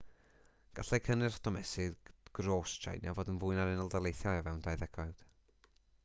gallai cynnyrch domestig gros tsieina fod yn fwy na'r unol daleithiau o fewn dau ddegawd